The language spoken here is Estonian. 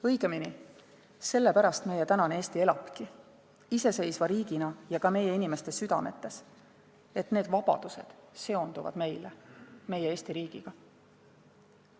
Õigemini, sellepärast meie tänane Eesti elabki, iseseisva riigina ja ka meie inimeste südametes, et need vabadused seonduvad meile meie Eesti riigiga.